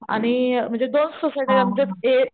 आणि म्हणजे दोनच सोसायट्या आमच्यात ए